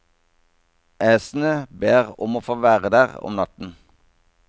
Æsene ber om å få være der om natten.